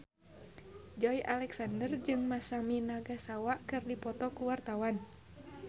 Joey Alexander jeung Masami Nagasawa keur dipoto ku wartawan